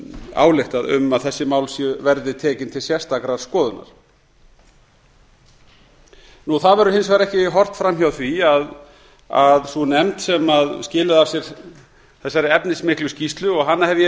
ályktað um að þessi mál verði tekin til sérstakrar skoðunar það verður hins vegar ekki horft fram hjá því að sú nefnd sem skilaði af sér þessari efnismiklu skýrslu og hana hef ég